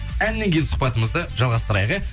әннен кейін сұхбатымызды жалғастырайық иә